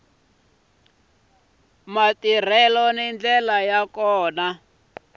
matirhelo hi ndlela yo ka